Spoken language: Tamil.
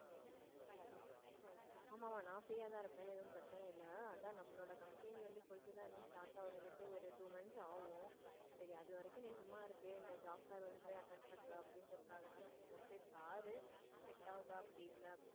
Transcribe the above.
ஆமா நான் free யா தான் இருப்பேன் ஒரு பிரச்சனையும் இல்ல நமக்கு நம்மளோட company வந்து start ஆகுறதுக்கு ஒரு two months ஆகும் சரி அதுவரைக்கும் நீ சும்மா இருக்க இந்த job fair போய் attend பண்ணிட்டு வா அப்படிங்கறதுக்கு தான் சொன்னேன் போய் பாரு set ஆகுதா அப்படி இல்லன்னா.